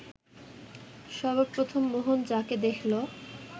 সর্বপ্রথম মোহন যাঁকে দেখল